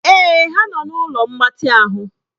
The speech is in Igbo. Èè ha nọ na ụlọ mgbatị ahụ.